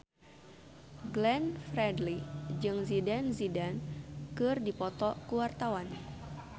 Glenn Fredly jeung Zidane Zidane keur dipoto ku wartawan